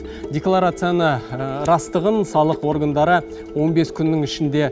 декларацияны растығын салық органдары он бес күннің ішінде